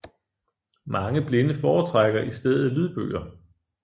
Mange blinde foretrækker i stedet lydbøger